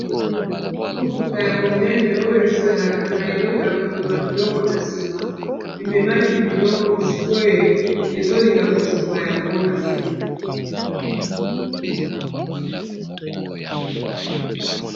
Motuka ya monene oyo ezalaka na eleko ya komema biloko na nsima ememaki biloko sikoyo ezolinga kosopa yango na se.